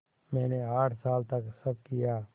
मैंने आठ साल तक सब किया